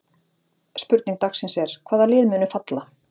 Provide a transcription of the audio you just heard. Spurning dagsins er: Hvaða lið munu falla?